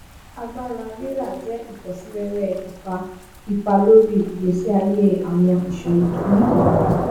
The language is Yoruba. agbára rírà jẹ ifọsíwẹwẹ ipá ipá lórí ìgbésí ayé àwọn iṣòwò ní ìbàdàn